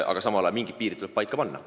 Aga mingid piirid tuleb paika panna.